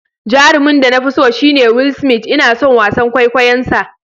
Jarumin da na fi so shine Will Smith, Ina son wasan kwaikwayonsa.